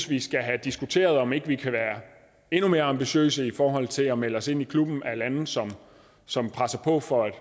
vi skal have diskuteret om ikke vi kan være endnu mere ambitiøse i forhold til at melde os ind i klubben af lande som som presser på for at